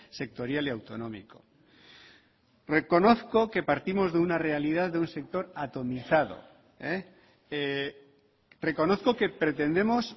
sectorial y autonómico reconozco que partimos de una realidad de un sector atomizado reconozco que pretendemos